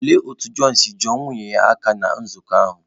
Lee otú John si juo nwunye ya aka ná nzukọ ahụ